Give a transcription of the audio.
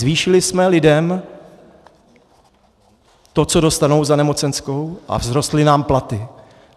Zvýšili jsme lidem to, co dostanou za nemocenskou, a vzrostly nám platy.